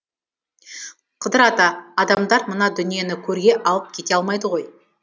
қыдыр ата адамдар мына дүниені көрге алып кете алмайды ғой